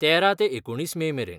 तेरा ते एकुणतीस मे मेरेन.